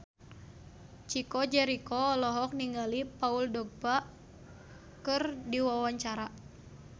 Chico Jericho olohok ningali Paul Dogba keur diwawancara